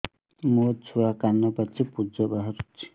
ମୋ ଛୁଆ କାନ ପାଚି ପୂଜ ବାହାରୁଚି